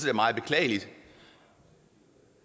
er meget beklageligt og